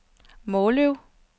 Måløv